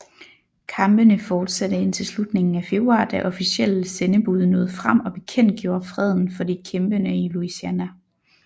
Kampene fortsatte indtil slutningen af februar da officielle sendebud nåede frem og bekendtgjorde freden for de kæmpende i Louisiana